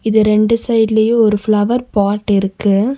இது ரெண்டு சைடுலயு ஒரு ஃப்ளவர் பாட் இருக்கு.